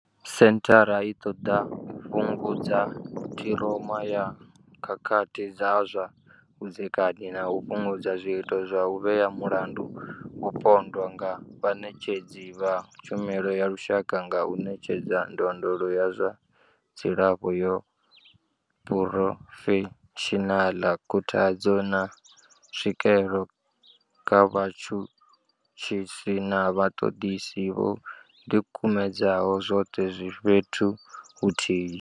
Senthara i ṱoḓa u fhungudza ṱhiroma ya khakhathi dza zwa vhudzekani na u fhungudza zwiito zwa u vhea mulandu mupondwa nga vhaṋetshedzi vha tshumelo ya lushaka nga u ṋetshedza ndondolo ya zwa dzilafho ya phurofeshinala, khuthadzo, na tswikelo kha vhatshutshisi na vhaṱoḓisi vho ḓikumedzaho, zwoṱhe zwi fhethu huthihi.